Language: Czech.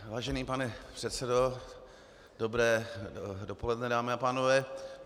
Vážený pane předsedo, dobré dopoledne, dámy a pánové.